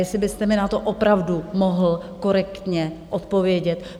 Jestli byste mi na to opravdu mohl korektně odpovědět?